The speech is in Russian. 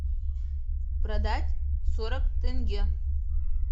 продать сорок тенге